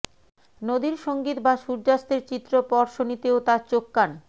নদীর সঙ্গীত বা সূর্যাস্তের চিত্র প্রর্শনীতেও তার চোখ কান